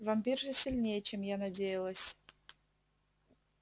вампирша сильнее чем я надеялась